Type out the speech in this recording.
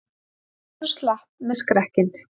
Valur slapp með skrekkinn